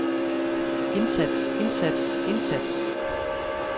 indsats indsats indsats